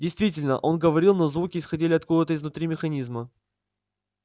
действительно он говорил но звуки исходили откуда-то изнутри механизма